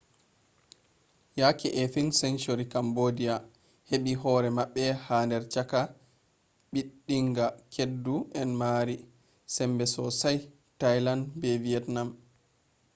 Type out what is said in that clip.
yake 18th century cambodia heɓi hore maɓɓe ha der chaka ɓiɗɗinga keddu en mari sembe sossai thailand be vietnam